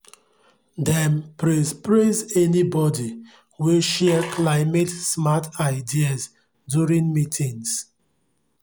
dem praise praise anybodi wey share climate-smart ideas during meetings